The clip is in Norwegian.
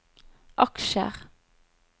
aksjer